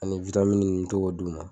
Ani n mɛ to k'o d'u ma.